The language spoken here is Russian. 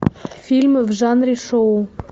фильмы в жанре шоу